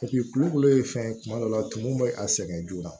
kulukolo ye fɛn ye kuma dɔ la tumu bɛ a sɛgɛn joona